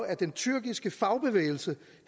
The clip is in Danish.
at den tyrkiske fagbevægelse